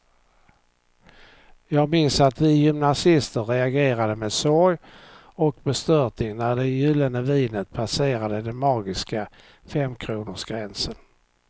Jag minns att vi gymnasister reagerade med sorg och bestörtning när det gyllene vinet passerade den magiska femkronorsgränsen.